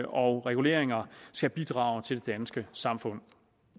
og reguleringer skal bidrage til det danske samfund